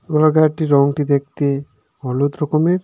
Roller গায়েরটি রংটি দেখতে হলুদ রকমের.